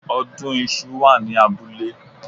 Ọdún iṣu wà ní abúlé